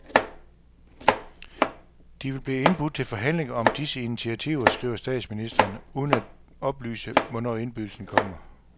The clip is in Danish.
De vil blive indbudt til forhandlinger om disse initiativer, skriver statsministerenuden uden at oplyse, hvornår indbydelsen kommer.